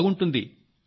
నాకు బాగుంటుంది